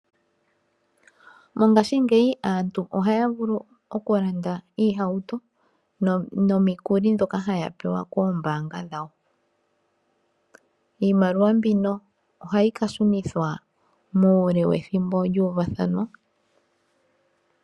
Mongaashingeyi aantu ohaya vulu okulanda oohauto nomikuli ndhoka haya pewa koombanga dhawo. Iimaliwa mbino ohayi ka shunithwa muule wethimbo lyuuvathanwa.